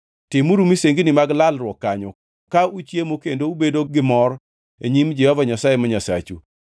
Timuru misengini mag lalruok kanyo, ka uchiemo kendo ubedo gi mor e nyim Jehova Nyasaye ma Nyasachu.